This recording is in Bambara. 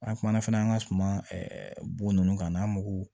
An kumana fana an ka suman bo ninnu kan n'an mogow